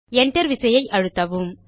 Enter விசையை அழுத்தவும்